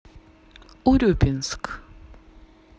урюпинск